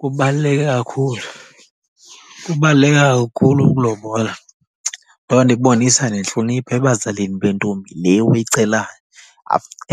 Kubaluleke kakhulu, kubaluleke kakhulu ukulobola. Loo nto ibonisa nentlonipho ebazalini bentombi le uyicelayo.